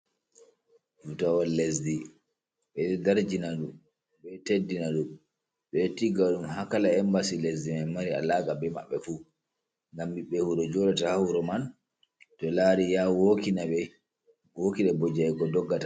Tuutawol lesdi. Ɓe ɗo darjina ɗum, ɓe ɗo teddina ɗum, be ɗo tigga ɗum haa kala 'embassy' lesdi man mari alaka be maɓɓe fu. Ngam ɓiɓɓe wuro jooɗata haa wuro man, to laari yaha wookina ɓe, wookina ɓe bojji je ko doggata.